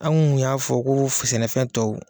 An kun y'a fɔ ko sɛnɛfɛn tɔw